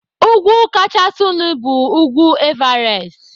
Úgwú kachasịnu bu ugwu Everest.